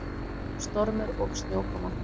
Stormur og snjókoma.